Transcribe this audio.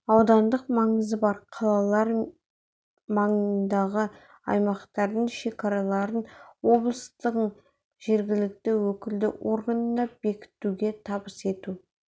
аудандық маңызы бар қалалар маңындағы аймақтардың шекараларын облыстың жергілікті өкілді органына бекітуге табыс ету